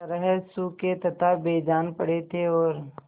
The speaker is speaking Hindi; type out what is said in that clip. तरह सूखे तथा बेजान पड़े थे और